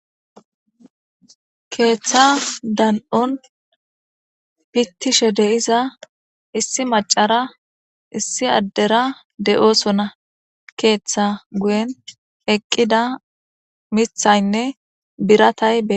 keeththa dan7on pittishe de'iza issi macara issi addera de7osona keeththa guyen eqqida mithaynne biratay be